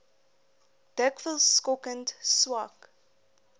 dikwels skokkend swak